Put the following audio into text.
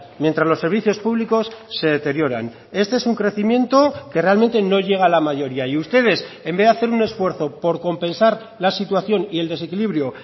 mientras los servicios públicos se deterioran este es un crecimiento que realmente no llega a la mayoría y ustedes en vez de hacer un esfuerzo por compensar la situación y el desequilibrio